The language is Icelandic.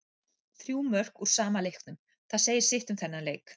Þrjú mörk úr sama leiknum, það segir sitt um þennan leik.